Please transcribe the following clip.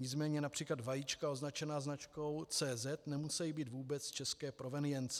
nicméně například vajíčka označená značkou CZ nemusejí být vůbec české provenience.